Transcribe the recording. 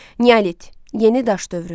Neolit, yeni daş dövrü.